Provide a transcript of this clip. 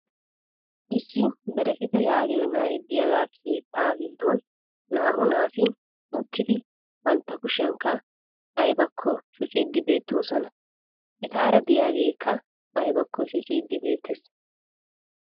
issi bereketta yaagiyo na"ay diyaagaa keettaa giddon naa'u naati uttidi bantta kushshiyankka aybbakko shocciidi beettoosona. etaara diyageekka aybakko shocciiddi beettees.